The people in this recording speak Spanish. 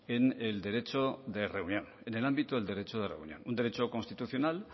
en el derecho de reunión en el ámbito del derecho de reunión un derecho constitucional